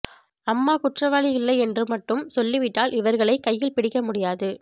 அம்மா குற்றவாளி இல்லை என்று மட்டும் சொல்லிவிட்டால் இவர்களை கையில் பிடிக்க முடியாது